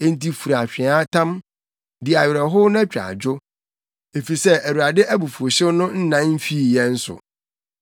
Enti fura atweaatam, di awerɛhow na twa adwo, efisɛ Awurade abufuwhyew no nnan mfii yɛn so.